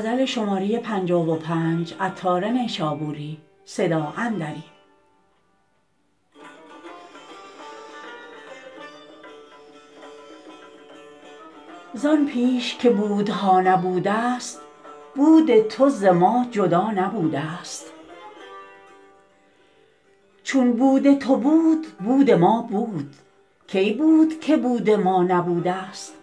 زان پیش که بودها نبودست بود تو ز ما جدا نبودست چون بود تو بود بود ما بود کی بود که بود ما نبودست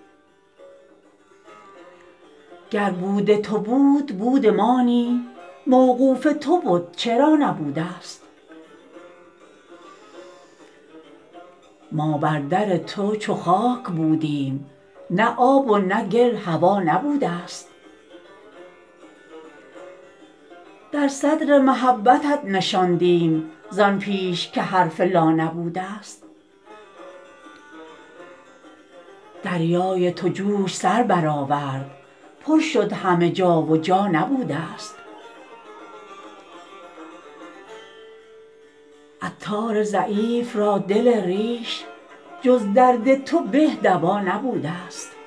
گر بود تو بود بود ما نی موقوف تو بد چرا نبودست ما بر در تو چو خاک بودیم نه آب و نه گل هوا نبودست در صدر محبتت نشاندیم زان پیش که حرف لا نبودست دریای تو جوش سر برآورد پر شد همه جا و جا نبودست عطار ضعیف را دل ریش جز درد تو به دوا نبودست